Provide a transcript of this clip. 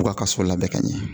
U k'a ka so labɛn ka ɲɛ